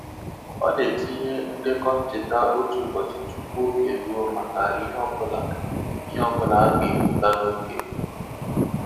Ọ na-etinye ndekọ ncheta otu ụbọchị tupu oge eruo maka ihe ọ bụla ihe ọ bụla a ga-ebuga n'oge.